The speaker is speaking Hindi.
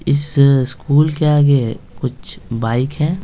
इस स्कूल के आगे कुछ बाइक हैं।